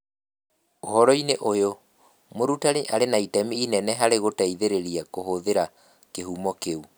Ũhoro-inĩ ũyũ, mũrutani arĩ na itemi inene harĩ gũteithĩrĩria kũhũthĩra kĩhumo kĩu.